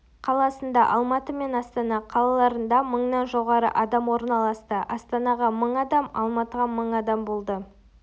қаласында-алматы мен астана қалаларында мыңнан жоғары адам орналасты астанаға мың адам алматыға мың адам болды